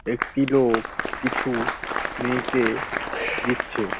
একটি লোক কিছু মেয়েকে দিচ্ছে।